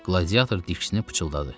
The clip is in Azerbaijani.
Qladiator diksinib pıçıldadı.